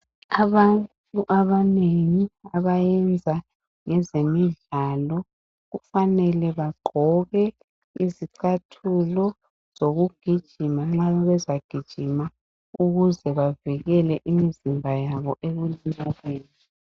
Abantu abanengi abayenza ngezemidlalo kufanele bagqoke izicathulo zokugijima nxa bezagijima ukuze bavikele imizimba yabo ekulimaleni.